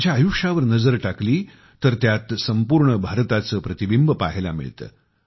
त्यांच्या आयुष्यावर नजर टाकली तर त्यात संपूर्ण भारताचे प्रतिबिंब पाहायला मिळते